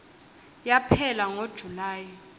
yaphela ngo july